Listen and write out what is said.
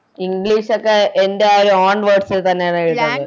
English ഒക്കെ എൻറെ ആ ഒരു Own words ൽ തന്നെയാണോ എഴുതണ്ടെ